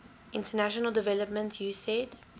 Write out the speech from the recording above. international development usaid